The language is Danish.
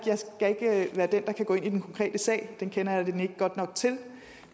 være den der går ind i den konkrete sag det kender jeg den ikke godt nok til